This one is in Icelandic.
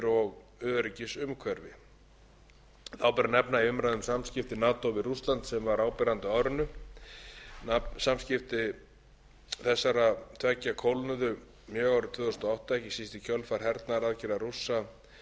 þá ber að nefna umræðu um samskipti nato við rússland sem var áberandi á árinu samskipti þessara tveggja kólnuðu mjög árið tvö þúsund og átta ekki síst